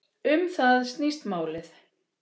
Um það snýst málið.